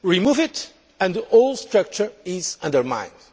Remove it and the whole structure is undermined.